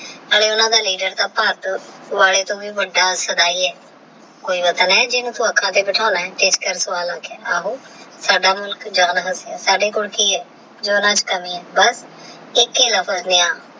ਆਲੇ ਓਹਨਾ ਦਾ ਲੀਡਰ ਤਹ ਭਰ ਟੋਹ ਵੀ ਵੱਡਾ ਸਦੀ ਆਹ ਜਿੰਨੂ ਤੂ ਅਣਖਾ ਤੇਹ ਬੈਠਾਨਾ ਆਹ ਤੇਹ ਇਸ ਕਰ ਸ੍ਵਾਦ ਆਗਯਾ ਆਹੂ ਸਾਡੇ ਕੋਲ ਕੀ ਆਹ ਜੋ ਓਹਨਾ ਕੋਲ ਕਮੀ ਆਹ